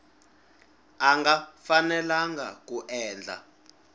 a nga fanelanga ku endla